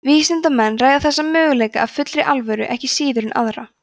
vísindamenn ræða þessa möguleika af fullri alvöru ekki síður en aðra